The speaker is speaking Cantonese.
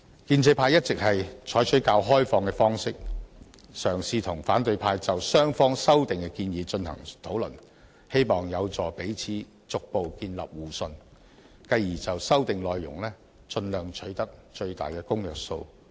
建制派一直採取較開放的方式，嘗試與反對派就雙方的修訂建議進行討論，希望有助彼此逐步建立互信，繼而就修訂內容盡量取得最大的公約數。